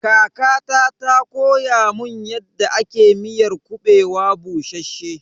Kakata ta koya mun yadda ake miyar kuɓewa bushasshe.